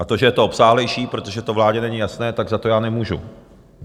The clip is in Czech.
A to, že je to obsáhlejší, protože to vládě není jasné, tak za to já nemůžu.